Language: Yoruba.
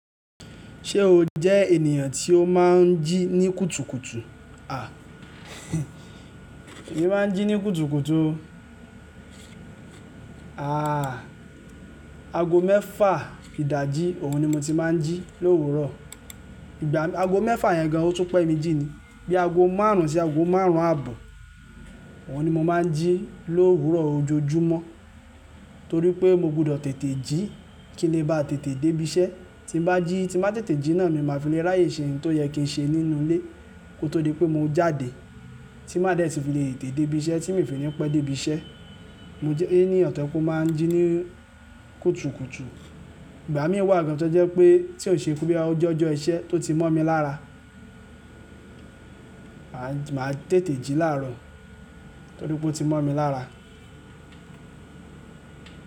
Ṣé o jẹ́ ènìyàn tí ó máa ń jí ní kùtùkùtù? À, èmi máa ń jí ní kùtùkùtù o. Àà, ago mẹ́fà ìdajì, òun ni mo ti máa ń jí lówùrọ̀. Ìgbà ago mẹ́fà yẹn gan an, ó tú pẹ́ mi jí ni. Bí ago márùn-ún sí ago márùn-ún àbọ̀, òun ni mo máa ń jí lóòrùn ọ̀rọ̀ ojoojúmọ́. Nítorí pé mo gbọdọ̀ tètè jí kí ní ba tètè débí iṣẹ́. Tí bá jí, tí bá tètè jí náà, mi máa fi lè ráyè ṣe ohun tó yẹ kí n ṣe nínú ilé kó tó di pé mo jáde. Tí máa dẹ̀ ti fi lè tètè débí iṣẹ́ tí n ò fi ní pẹ́ débí iṣẹ́. Mo jẹ́ ènìyàn tí ó máa ń jí ní kùtùkùtù. Ìgbà mi wà gan tó jẹ́ wípé tí ò kìn ṣe ọjọ́ iṣẹ́, tó ti mọ́ mi lára máa tètè jí láàrọ̀ torí pé ó ti mọ́ mi lára.